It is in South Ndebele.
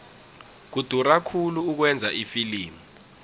kudura khulu ukwenza ifilimu